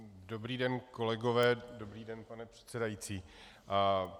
Dobrý den, kolegové, dobrý den, pane předsedající.